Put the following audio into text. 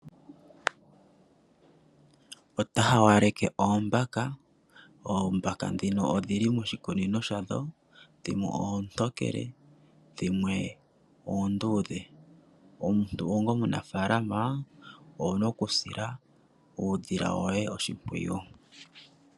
Pta hawaleke oombaka, oombaka dhino odhili moshikunino shadho. Dhikwe oontokele, dhimwe oondudhe. Omuntu onga omunafalama owuna okusila eedhila woye oshimpwiyu.